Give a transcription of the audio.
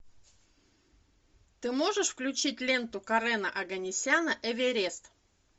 ты можешь включить ленту карена оганесяна эверест